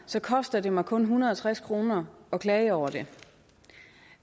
så koster det mig kun en hundrede og tres kroner at klage over den